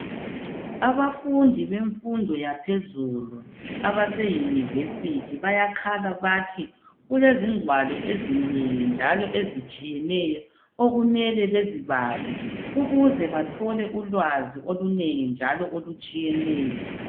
Abafundi bemfundo yaphezulu abaseyunivesithi bayakhala bathi kulezingwalo ezinengi njalo ezitshiyeneyo okumele bazibale ukuze bathole ulwazi olunengi njalo olutshiyeneyo.